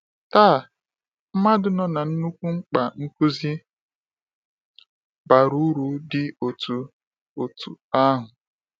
“Taa, mmadụ nọ na nnukwu mkpa nkuzi bara uru dị otú otú ahụ.